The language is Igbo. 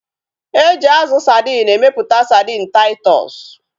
Eji azụ sadin emeputa sadin Taịtọs